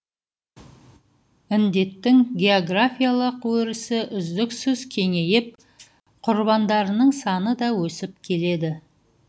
індеттің географиялық өрісі үздіксіз кеңейіп құрбандарының саны да өсіп келеді